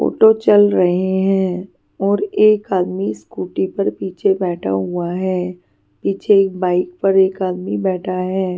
Photo चल रहे हैं और एक आदमी स्कूटी पर पीछे बैठा हुआ है पीछे एक बाइक पर एक आदमी बैठा है.